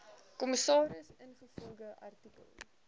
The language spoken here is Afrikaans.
kommissaris ingevolge artikel